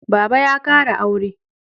Baba ya kara aure